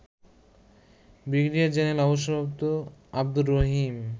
Brigadier general অব. আবদুর রহিম